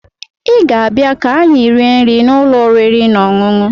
Ị ga-abịa ka anyị rie nri n'ụlọ oriri na ọṅụṅụ